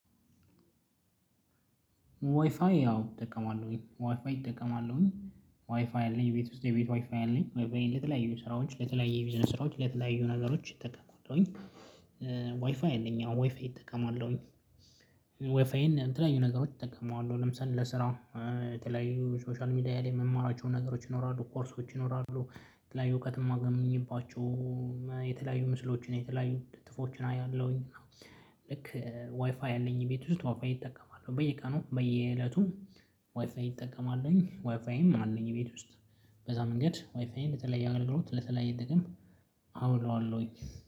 ዋይፋይ አዎ እጠቀማለሁ። ዋይፋይ እጠቀማለሁኝ። ዋይፋይ አለኝ። ቤት ውስጥ የቤት ዋይፋይ አለኝ። ዋይፋይ ለተለያዩ ስራዎች ለተለያዩ ቢዝነስ ስራዎች ለተለያዩ ነገሮች እጠቀማሁኝ። ዋይፋይ አለኝ አዎ። ዋይፋይ እጠቀማለሁ። ዋይፋይን ተለያዩ ነገሮች እጠቀማለሁ። ለምሳሌ ለስራ የተለያዩ ሶሻል ሚዲያ ላይ የምማራቸውን ነገሮች ይኖራ፣ ኮርሶች ይኖራሉ፣ የተለያዩ እውቀት የማገኝባቸውና የተለያዩ ምስሎችን የተለያዩ ጥፎችን አያለሁኝ። ልክ ዋይፋይ አለኝ ቤት ውስጥ። ዋይፋይ እጠቀማለሁ። በየቀኑ በየእለቱ ዋይፋይ እጠቀማለሁኝ። ዋይፋይም አለኝ ቤት ውስጥ። በዛ መንገድ ወይፋይን ለተለየ አገልግሎት ለተለየ ጥቅም አውለዋለሁኝ።